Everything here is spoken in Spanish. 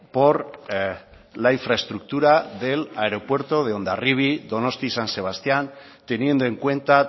por la infraestructura del aeropuerto de hondarribia donostia san sebastián teniendo en cuenta